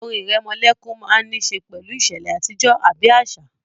Orin ìrẹmọlẹ́kún máa n ní ṣe pẹ̀lú ìṣẹ̀lẹ̀ àtijọ́ àbí àṣà